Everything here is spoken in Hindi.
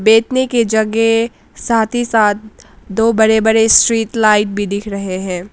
बैठने के जगे साथ ही साथ दो बड़े बड़े स्ट्रीट लाइट भी दिख रहे है।